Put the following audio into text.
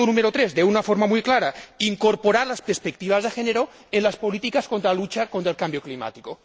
3 de una forma muy clara, incorporar las perspectivas de género en las políticas de lucha contra el cambio climático.